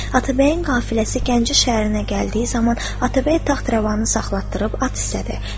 Atabəyin qəfiləsi Gəncə şəhərinə gəldiyi zaman Atabəy taxtravanı saxlatdırıb at istədi.